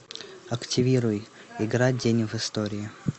активируй игра день в истории